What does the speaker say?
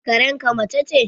Karen ka mace ce?